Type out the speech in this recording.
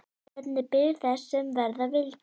Bretarnir biðu þess sem verða vildi.